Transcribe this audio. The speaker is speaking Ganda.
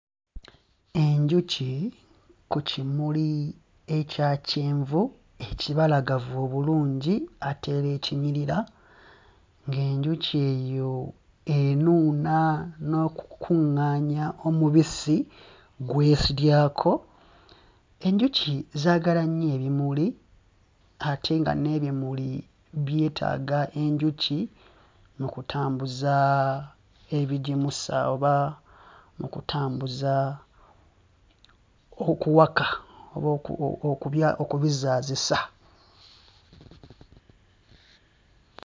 Enjuki ku kimuli ekya kyenvu ekibalagavu obulungi ate era ekinyirira ng'enjuki eyo enuuna n'okukuŋŋaanya omubisi gw'esudyako. Enjuki zaagala nnyo ebimuli ate nga n'ebimuli byetaaga enjuki mu kutambuza ebigimusa oba mu kutambuza okuwaka oba oku o kubya okubizaazisa.